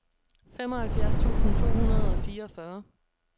femoghalvfjerds tusind to hundrede og fireogfyrre